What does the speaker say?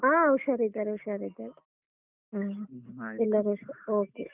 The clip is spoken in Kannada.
ಹಾ ಹುಷಾರಿದ್ದಾರೆ, ಹುಷಾರಿದ್ದಾರೆ ಹ್ಮ ಅಷ್ಟೇ okay .